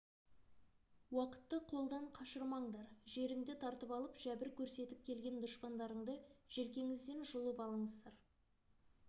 уақытты қолдан қашырмаңдар жеріңді тартып алып жәбір көрсетіп келген дұшпандарыңды желкеңізден жұлып алыңыздар